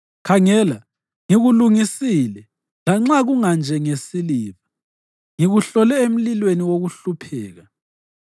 Khangela, ngikulungisile lanxa kunganjengesiliva; ngikuhlole emlilweni wokuhlupheka.